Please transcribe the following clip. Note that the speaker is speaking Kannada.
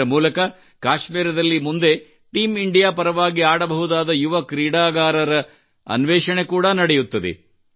ಇದರ ಮೂಲಕ ಕಾಶ್ಮೀರದಲ್ಲಿ ಮುಂದೆ ಟೀಮ್ ಇಂಡಿಯಾ ಪರವಾಗಿ ಆಡಬಹುದಾದ ಯುವ ಕ್ರೀಡಾಪಟುಗಳ ಅನ್ವೇಷಣೆ ಕೂಡಾ ನಡೆಯುತ್ತದೆ